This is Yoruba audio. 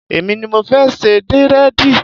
Èmi ni mo fẹ́ ṣe dírẹ̀dì